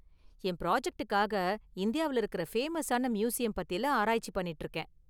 என் பிராஜெக்ட்டுக்காக​ இந்தியாவுல இருக்குற ஃபேமஸான மியூசியம் பத்திலாம் ஆராய்ச்சி பண்ணிட்டு இருக்கேன்.